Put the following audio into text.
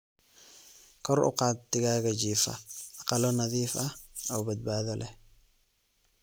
Kor u qaad digaaga jiifa aqalo nadiif ah oo badbaado leh.